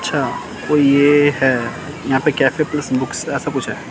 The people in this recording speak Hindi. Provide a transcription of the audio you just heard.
अच्छा तो ये है यहां पे कैफे पुलिस बुक्स ऐसा कुछ है।